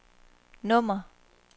nummer